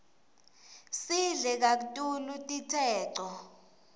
sidle kaktulu titseco